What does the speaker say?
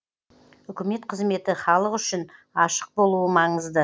үкімет қызметі халық үшін ашық болуы маңызды